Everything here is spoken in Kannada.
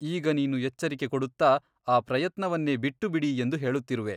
ಈಗ ನೀನು ಎಚ್ಚರಿಕೆ ಕೊಡುತ್ತಾ ಆ ಪ್ರಯತ್ನವನ್ನೇ ಬಿಟ್ಟುಬಿಡಿ ಎಂದು ಹೇಳುತ್ತಿರುವೆ.